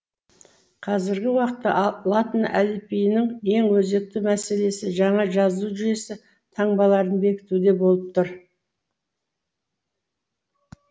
қазіргі уақытта латын әліпбиінің ең өзекті мәселесі жаңа жазу жүйесі таңбаларын бекітуде болып тұр